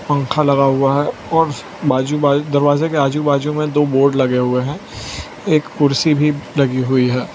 पंखा लगा हुआ है और बाजू बाजू दरवाजे के आजू बाजू में दो बोर्ड लगे हुए हैं एक कुर्सी भी लगी हुई है।